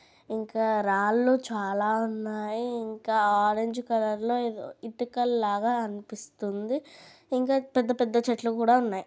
ఇంకా రాళ్లు చాలా ఉన్నాయి ఇంకా ఆరంజ్ కలర్ లో ఏదో ఇటుకలు లాగా అనిపిస్తుంది. ఇంకా పెద్ద పెద్ద చెట్లు కూడా ఉన్నాయి.